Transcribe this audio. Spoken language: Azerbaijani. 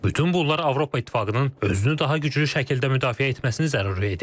Bütün bunlar Avropa İttifaqının özünü daha güclü şəkildə müdafiə etməsini zəruri edir.